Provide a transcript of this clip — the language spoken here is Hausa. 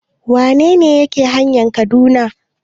Wane ne ke hanayan Kaduna?